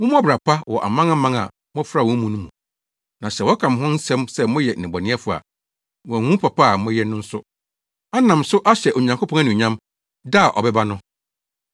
Mommɔ ɔbra pa wɔ amanaman a mofra wɔn mu no mu, na sɛ wɔka mo ho nsɛm sɛ moyɛ nnebɔneyɛfo a, wɔahu mo papa a moayɛ no nso, anam so ahyɛ Onyankopɔn anuonyam da a ɔbɛba no.